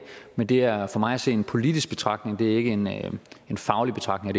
men det er for mig at se en politisk betragtning det er ikke en en faglig betragtning